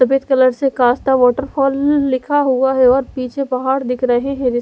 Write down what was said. सफ़ेद कलर से कसता वाटर फल लिखा हुआ है और पीछे पहाड़ दिख रहे है --